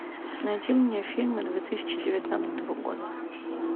найди мне фильмы две тысячи девятнадцатого года